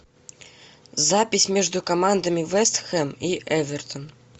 запись между командами вест хэм и эвертон